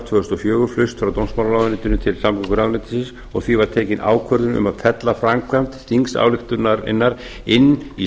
tvö þúsund og fjögur flust frá dómsmálaráðuneytinu til samgönguráðuneytisins og því var tekin ákvörðun um að fella framkvæmd þingsályktunarinnar inn í